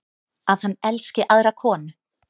Að hann elski aðra konu.